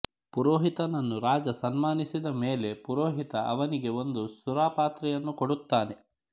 ಪುರೋಹಿತನನ್ನು ರಾಜ ಸನ್ಮಾನಿಸಿದ ಮೇಲೆ ಪುರೋಹಿತ ಅವನಿಗೆ ಒಂದು ಸುರಾಪಾತ್ರೆಯನ್ನು ಕೊಡುತ್ತಾನೆ